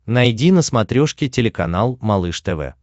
найди на смотрешке телеканал малыш тв